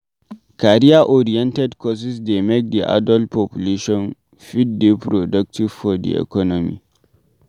Career oriented courses dey make di adult population fit dey productive for di economy